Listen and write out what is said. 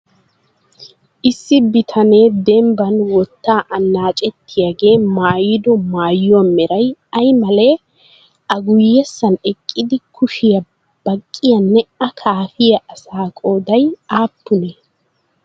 Issi bitanee dembban wotta annacettiyaagee mayyido mayyuwaa meray ayi male? A guyyessan eqqidi kushiya baqqiyaanne a kaafiya asaa qooday aappunee?